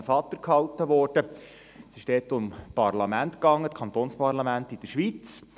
Adrian Vatter hielt ein Referat über kantonale Parlamente in der Schweiz.